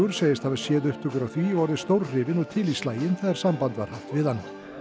segist hafa séð upptökur af því og orðið stórhrifinn og til í slaginn þegar samband var haft við hann